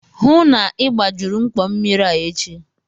Hụụ na Ị gbajuru mkpọ mmiri a echi!